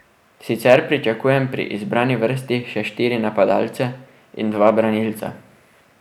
Sicer pričakujem pri izbrani vrsti še štiri napadalce in dva branilca.